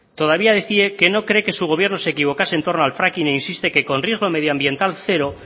todavía decía que no cree que su gobierno se equivocase entorno al fracking e insiste que con riesgo medioambiental cero